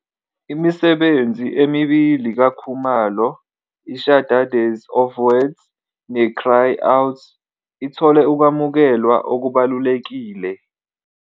Imisebenzi emibili kaKhumalo, "iShadades of Words" "neCry Out", ithole ukwamukelwa okubalulekile.